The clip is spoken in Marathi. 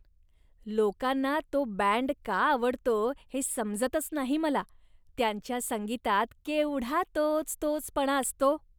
लोकांना तो बँड का आवडतो हे समजतच नाही मला. त्यांच्या संगीतात केवढा तोचतोचपणा असतो!